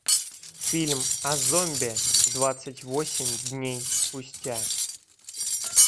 фильм о зомби двадцать восемь дней спустя